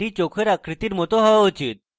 এটি চোখের আকৃতির it হওয়া উচিত